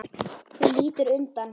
Þú lítur undan.